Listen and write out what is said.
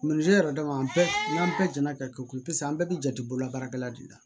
yɛrɛ dama bɛɛ n'an bɛɛ jɛna ka kɛ ko paseke an bɛɛ bɛ jate bololabaarakɛla de la